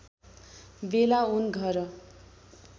वेला उन घर